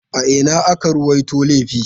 A ina aka ruwaito laifin?